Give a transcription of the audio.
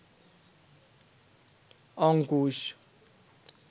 Ankush